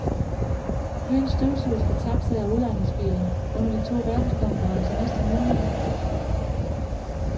Byen støvsuges for taxaer og udlejningsbiler under de to verdenskonferencer næste måned.